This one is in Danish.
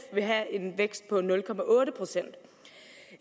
vil have en vækst på nul procent